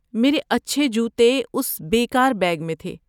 میرے اچھے جوتے اس بے کار بیگ میں تھے۔